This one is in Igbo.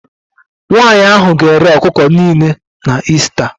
Nwanyị ahụ ga-ere ọkụkọ niile na Ista